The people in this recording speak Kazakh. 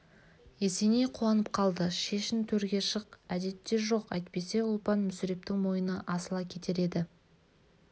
есеней қуанып қалды шешін төрге шық әдетте жоқ әйтпесе ұлпан мүсірептің мойнына асыла кетер еді